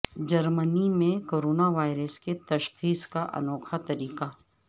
جرمنی میں corona virus کی تشخیص کا انوکھا طریقہ